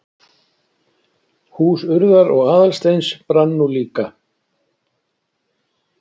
Hús Urðar og Aðalsteins brann nú líka.